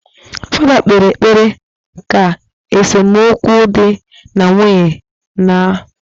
Fada kpere ekpere ka esomukwu di na nwunye naaa